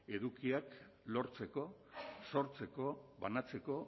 edukiak lortzeko sortzeko banatzeko